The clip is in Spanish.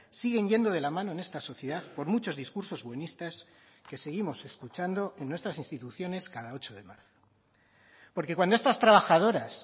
siguen yendo de la mano en esta sociedad por muchos discursos buenistas que seguimos escuchando en nuestras instituciones cada ocho de marzo porque cuando estas trabajadoras